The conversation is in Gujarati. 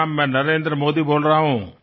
હું નરેન્દ્ર મોદી બોલી રહ્યો છું